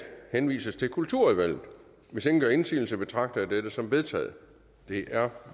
henvises til kulturudvalget hvis ingen gør indsigelse betragter jeg dette som vedtaget det er